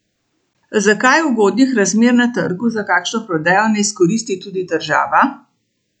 Zakaj ugodnih razmer na trgu za kakšno prodajo ne izkoristi tudi država?